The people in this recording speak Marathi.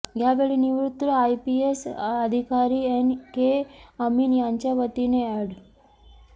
यावेळी निवृत्त आयपीएस अधिकारी एन के अमीन यांच्यावतीने ऍड